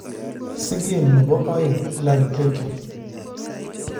sigen nepo oeng Hillary Clinton